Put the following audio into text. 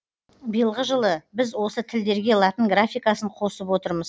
биылғы жылы біз осы тілдерге латын графикасын қосып отырмыз